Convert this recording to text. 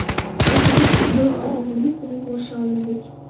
Oqibatda bir oy o‘g‘limiz bilan ko‘risha olmadik.